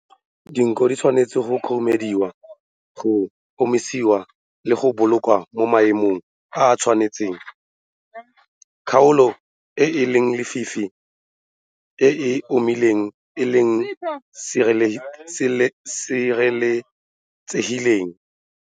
Diako di tshwanetse go khurumediwa, go omisiwa le go bolokwa mo maemong a a tshwanetseng kgaolo e e lefifi e e omileng le e e sireletsegileng.